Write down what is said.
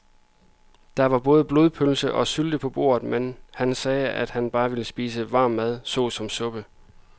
Der var både blodpølse og sylte på bordet, men han sagde, at han bare ville spise varm mad såsom suppe.